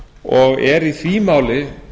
og eru í því máli